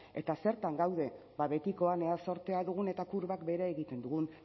eta zertan daude ba betikoan ea zortea dugun eta kurbak behera egiten dugun